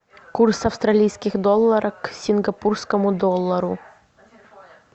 курс австралийских долларов к сингапурскому доллару